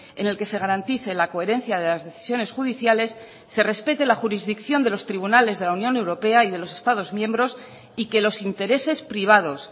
en el que se garantice la coherencia de las decisiones judiciales se respete la jurisdicción de los tribunales de la unión europea y de los estados miembros y que los intereses privados